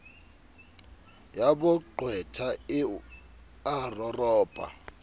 ya boqwetha e a roropa